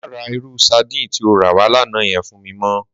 Má rà irú sàdín ti ó rà wá làná yèn fún mi mò